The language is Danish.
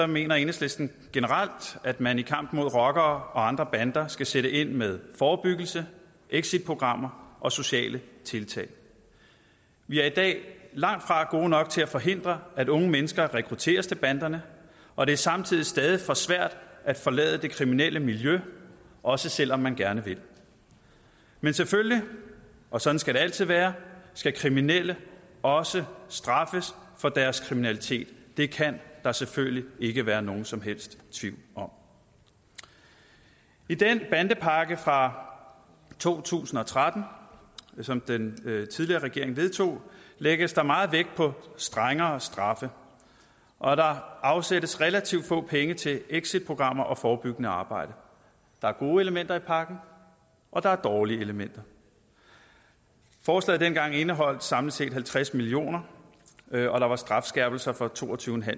mener enhedslisten generelt at man i kampen mod rockere og andre bander skal sætte ind med forebyggelse exitprogrammer og sociale tiltag vi er i dag langtfra gode nok til at forhindre at unge mennesker rekrutteres til banderne og det er samtidig stadig for svært at forlade det kriminelle miljø også selv om man gerne vil men selvfølgelig og sådan skal det altid være skal kriminelle også straffes for deres kriminalitet det kan der selvfølgelig ikke være nogen som helst tvivl om i den bandepakke fra to tusind og tretten som den tidligere regering vedtog lægges der meget vægt på strengere straffe og der afsættes relativt få penge til exitprogrammer og forebyggende arbejde der er gode elementer i pakken og der er dårlige elementer forslaget dengang indeholdt samlet set halvtreds million kr og der var strafskærpelser for to og tyve